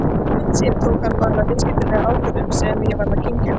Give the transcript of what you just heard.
Almennt séð tók hann bara viðskiptalega ákvörðun sem ég varð að kyngja.